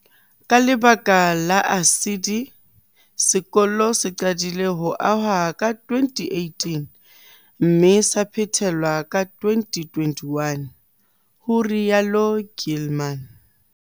"Ka lebaka la ASIDI, sekolo se qadile ho ahwa ka 2018 mme sa phethelwa ka 2021," ho rialo Gilman.